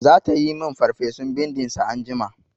Zata yi min farfesun bindin sa anjima.